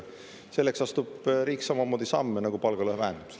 Selleks astub riik samamoodi samme nagu palgalõhe vähendamiseks.